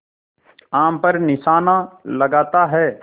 आम पर निशाना लगाता है